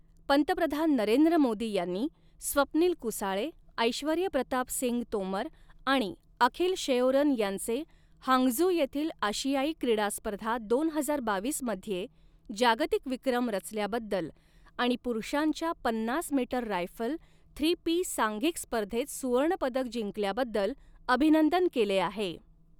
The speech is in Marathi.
पंतप्रधान नरेंद्र मोदी यांनी स्वप्नील कुसाळे, ऐश्वर्य प्रताप सिंग तोमर आणि अखिल शेओरन यांचे हांगझू येथील आशियाई क्रीडास्पर्धा दोन हजार बावीस मध्ये जागतिक विक्रम रचल्याबद्दल आणि पुरुषांच्या पन्नास मीटर रायफल थ्री पी सांघिक स्पर्धेत सुवर्णपदक जिंकल्याबद्दल अभिनंदन केले आहे.